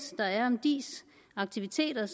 der er om diis aktiviteter